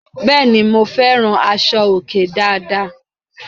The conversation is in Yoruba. Bẹ́ẹ̀ ni, mo fẹ́ràn aṣọ-òkè dáadáa.